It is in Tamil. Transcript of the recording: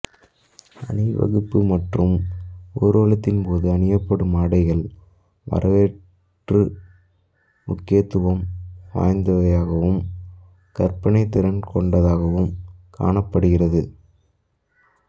அணிவகுப்பு மற்றும் ஊர்வலத்தின் போது அணியப்படும் ஆடைகள் வரலாற்று முக்கியத்துவம் வாய்ந்தவையாகவும் கற்பனைத்திறன் கொண்டதாகவும் காணப்படுகின்றது